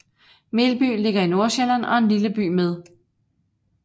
Melby ligger i Nordsjælland og er en lille by med